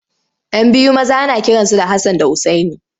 Yan biyu maza ana kiransu da Hassan da Usaini.